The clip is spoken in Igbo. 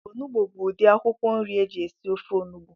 Onugbu bu udi akwụkwọ nri eji esi ofe onugbu